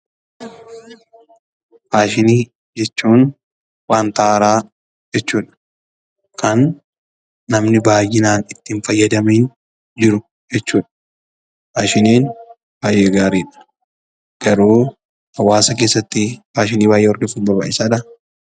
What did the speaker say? Faashinii jechuun wanta haaraa jechuu dha. Kan namni baay'inaan itti hin fayyadamin jiru jechuu dha. Faashiniin baay'ee gaarii dha. Garuu hawaasa keessatti faashinii baay'ee hordofuun barbaachisaa dha?